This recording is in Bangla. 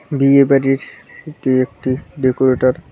বিয়ে বাড়ির এটি একটি ডেকোরেটর ।